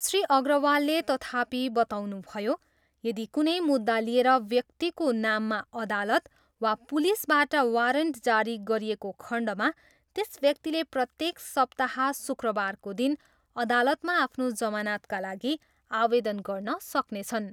श्री अग्रवालले तथापि बताउनुभयो, यदि कुनै मुद्दा लिएर व्यक्तिको नाममा अदालत वा पुलिसबाट वारन्ट जारी गरिएको खण्डमा त्यस व्यक्तिले प्रत्येक सप्ताह शुक्रबारको दिन अदालतमा आफ्नो जमानतका लागि आवेदन गर्न सक्नेछन्।